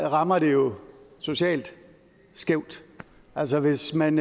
rammer det jo socialt skævt altså hvis man